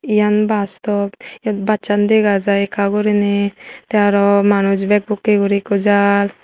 iyan bus stop yot busaan dagajai ekka guriney tay arow manush bak bukkay guri jar.